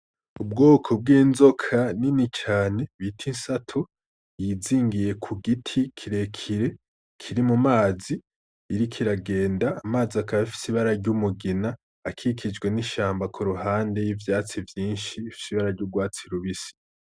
Ubwoko bw'inzoka nini cane bita insato ,yizingiye kugiti kirekire kiri mumazi , iriko iragenda amazi akaba afise ibara ry'umugina akikijwe n'ishamba kuruhande y'ivyatsi vyinshi bifise ibara ry'urwatsi rubisi.